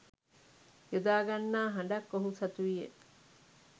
යොදා ගන්නා හඬක් ඔහු සතුවිය.